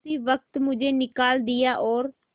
उसी वक्त मुझे निकाल दिया और